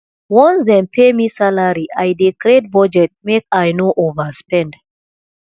once dem pay me salary i dey create budget make i no overspend